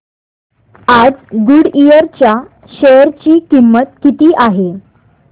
आज गुडइयर च्या शेअर ची किंमत किती आहे